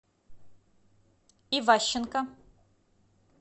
иващенко